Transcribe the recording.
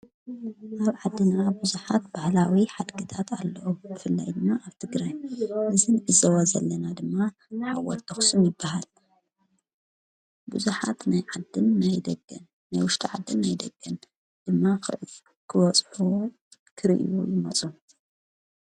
ኣብ ዓድና ብዙኃት ባሕላዊ ሓድግታት ኣለው። ብፍላይ ኣብ ትግራይ እዚን ንዕዘቦ ዘለና ድማ ሓወልቲ ኣኽሱም ይበሃል። ብዙኃት ናይ ዓድን ናይ ደገን ናይ ወሽጢ ዓድን ናይ ደገን ድማ ክበጽሑ ክርእዩ ይመጹ።